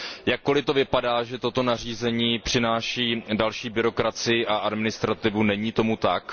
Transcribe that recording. Jakkoli to vypadá, že toto nařízení přináší další byrokracii a administrativu, není tomu tak.